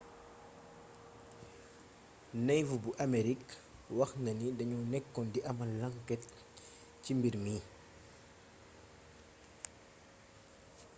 navy bu amerik wax na ni dañoo nekkoon di amal lanket ci mbir mi